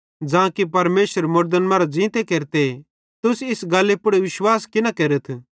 ज़ां कि परमेशर मुड़दन फिरी ज़ींते केरते तुस इस गल्ली पुड़ विश्वास कि न केरथ